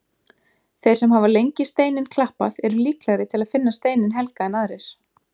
Þeir sem hafa lengi steininn klappað eru líklegri til að finna steininn helga en aðrir.